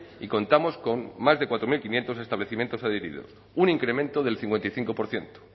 y contamos con más de cuatro mil quinientos establecimiento adheridos un incremento del cincuenta y cinco por ciento